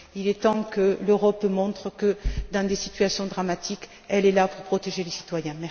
Il est temps que l'Europe montre que, dans des situations dramatiques, elle est là pour protéger les citoyens.